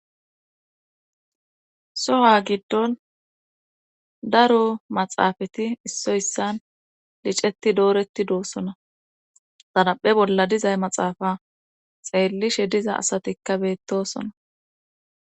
soha giddon daro maxaafati issoy issan liceti dooretti doossona xaraphe bolla dizay maxaafa xeellishe diza asatikka beettosona